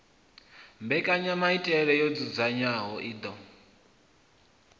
mbekanyamaitele yo dzudzanywaho i ḓo